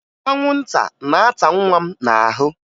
Anwụnta na-ata nwa m n'ahụ